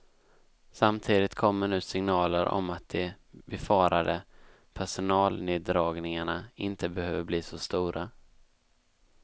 Samtidigt kommer nu signaler om att de befarade personalneddragningarna inte behöver bli så stora.